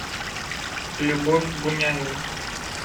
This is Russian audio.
любовь буняева